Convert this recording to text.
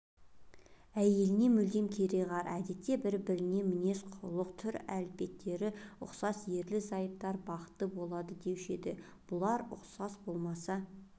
әйеліне мүлде кереғар әдетте бір-біріне мінез-құлық түр-әлпеттері ұқсас ерлі-зайыптылар бақытты болады деуші еді бұлар ұқсас болмаса